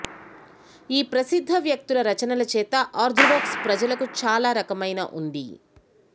ఈ ప్రసిద్ధ వ్యక్తుల రచనలు చేత ఆర్థోడాక్స్ ప్రజలకు చాలా రకమైన ఉంది